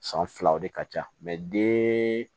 San filaw de ka ca den